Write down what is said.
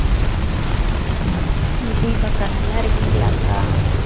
தீபா அக்கா நல்லா இருக்கீங்களா அக்கா